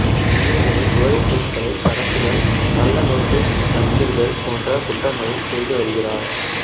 பெரியதுரை போதைப்பொருட்களை கடத்துதல் கள்ள நோட்டு அச்சிடுதல் போன்ற குற்றங்களை செய்துவருகிறார்